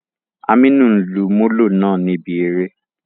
Aminu n lu Molo naa nibi ere.